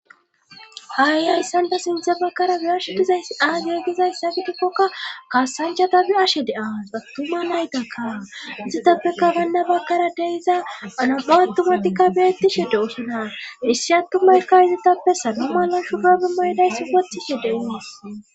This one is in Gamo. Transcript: Haayiayssan ta sinthe bakkara biyashe dizay aaygegizayssa gidikkokka kaasanchata bi7ashe de7aas attuma naytakka izitappeka baynna bakkara deiza anam7u attumatikka beettishe de osonar issi attumaykka izitappe saloma nan shu gabi maydayssi wotishe de oas